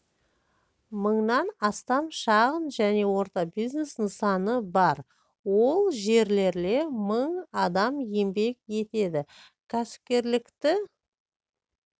мыңнан астам шағын және орта бизнес нысаны бар ол жерлерле мың адам еңбек етеді кәсіпкерлікті